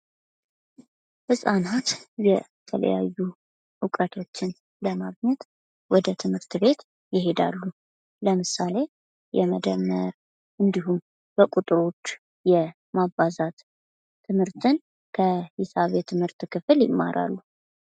ጻናት የተለያዩ እውቀቶችን ለማግኘት ወደ ትምህርት ቤት ይሄዳሉ። ለምሳሌ የመደመር እንዲሁም በቁጥሮች የማባዛት ትምርትን ከሂሳብ የትምህርት ክፍል ይማራሉ።